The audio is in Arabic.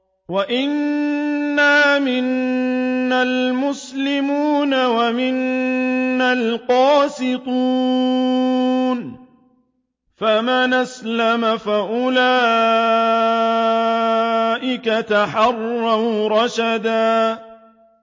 وَأَنَّا مِنَّا الْمُسْلِمُونَ وَمِنَّا الْقَاسِطُونَ ۖ فَمَنْ أَسْلَمَ فَأُولَٰئِكَ تَحَرَّوْا رَشَدًا